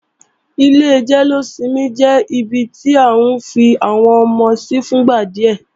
Ilé jẹ́lósinmi jẹ́ ibi tí à ń fi àwọn ọmọ sí fúngbà díẹ̀